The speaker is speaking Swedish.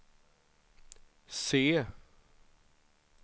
se